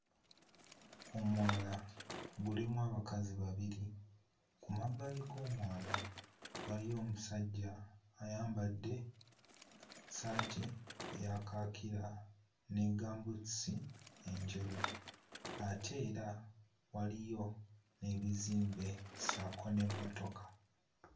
Omwala gulimu abakazi babiri, ku mabbali g'omwala waliyo omusajja ayambadde ssaati eya kaakira ne ggaamubuutusi enjeru, ate era waliyo n'ebizimbe ssaako n'emmotoka.